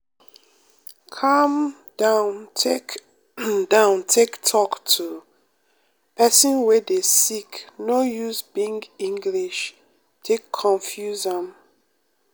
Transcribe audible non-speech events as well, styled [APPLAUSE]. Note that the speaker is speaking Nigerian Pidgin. calm down take [COUGHS] down take talk to pesin wey dey sick no use big english take confuse am.